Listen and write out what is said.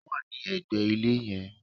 Ó wà ní ẹ̀gbẹ̀ ilé yen